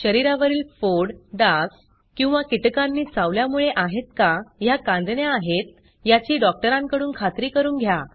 शरीरावरील फोड डास किंवा कीटकांनी चावल्यामुळे आहेत का ह्या कांजिण्या आहेत याची डॉक्टरांकडून खात्री करून घ्या